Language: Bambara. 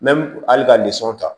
hali ka nisɔndiya